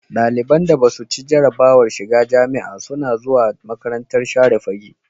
Daliban da Basu ci jarabawar shiga jamia suna zuwa makarantar share fage